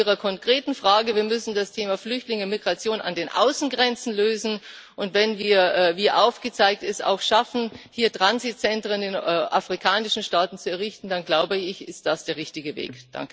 Zu Ihrer konkreten Frage Wir müssen das Thema Flüchtlinge, Migration an den Außengrenzen lösen, und wenn wir wie aufgezeigt es auch schaffen, hier Transitzentren in afrikanischen Staaten zu errichten, dann, glaube ich, ist das der richtige Weg.